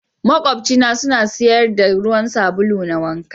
Maƙwabci na suna sayar da ruwan sabulu na wanka.